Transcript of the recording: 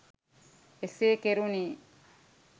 එසේ කෙරුනේ